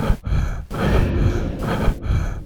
шилке